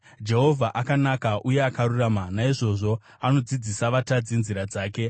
Jehovha akanaka uye akarurama; naizvozvo anodzidzisa vatadzi nzira dzake.